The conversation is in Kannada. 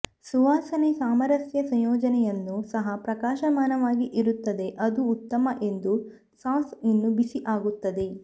ಸುವಾಸನೆ ಸಾಮರಸ್ಯ ಸಂಯೋಜನೆಯನ್ನು ಸಹ ಪ್ರಕಾಶಮಾನವಾಗಿ ಇರುತ್ತದೆ ಅದು ಉತ್ತಮ ಎಂದು ಸಾಸ್ ಇನ್ನೂ ಬಿಸಿ ಆಗುತ್ತದೆ